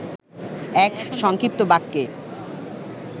এক সংক্ষিপ্ত বাক্যে